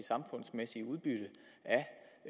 samfundsmæssige udbytte af